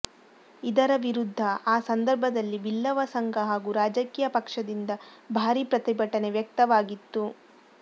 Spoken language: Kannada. ಇದರ ವಿರುದ್ಧ ಆ ಸಂದರ್ಭದಲ್ಲಿ ಬಿಲ್ಲವ ಸಂಘ ಹಾಗೂ ರಾಜಕೀಯ ಪಕ್ಷದಿಂದ ಭಾರೀ ಪ್ರತಿಭಟನೆ ವ್ಯಕ್ತವಾಗಿತ್ತು